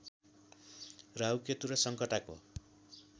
राहु केतु र सङ्कटाको